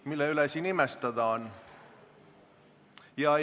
Mille üle siin imestada on?